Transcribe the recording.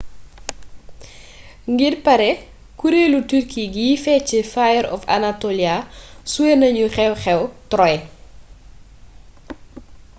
ngir pare kureelu turki guy fecc fire of anatolia suwe nanu xeew xew troy